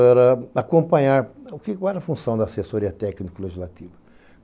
Era acompanhar qual era a função da assessoria técnico-legislativa.